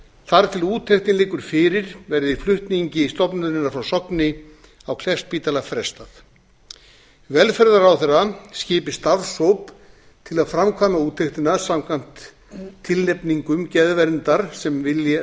þar til úttektin liggur fyrir verði flutningi stofnunarinnar frá sogni á kleppsspítala frestað velferðarráðherra skipi starfshóp til að framkvæma úttektina samkvæmt tilnefningum geðverndar sem